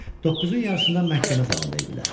Doqquzun yarısında məhkəmə zalında idilər.